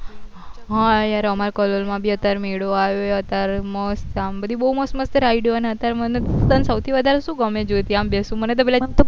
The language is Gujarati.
હા યાર અમાર કલોલ માં બી અત્યારે મેળો આવ્યો એ અત્યાર સાંભળી બહુ મસ્ત મસ્ત ride ઓ ને અત્યારે મન તન સો થી વધારે શું ગમે છે જ્યોતિ આમ બેસવું મન તો